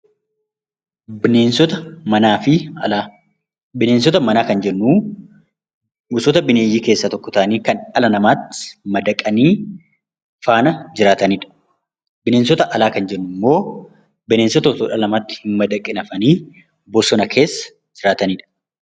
Bineensota manaa fi alaa Bineensota manaa kan jennu gosoota bineeyyii keessaa tokko ta'anii kan dhala namaatti madaqanii faana jiraatani dha. Bineensota alaa kan jennu immoo bineensota otoo dhala namaatti hin madaqin hafanii bosona keessa jiraatani dha.